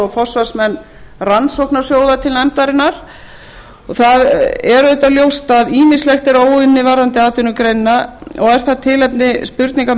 forsvarsmenn rannsóknarsjóða til nefndarinnar það er auðvitað ljóst að ýmislegt er óunnið varðandi atvinnugreinina og er það tilefni spurningar